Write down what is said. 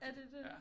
Er det det